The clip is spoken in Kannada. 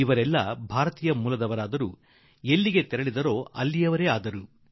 ಅಲ್ಲಿಗೆ ಹೋದ ಮೂಲ ಭಾರತೀಯರು ಅಲ್ಲಿಯವರೇ ಆಗಿಬಿಟ್ಟಿದ್ದಾರೆ